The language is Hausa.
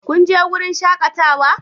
Kun je wurin shakatawa?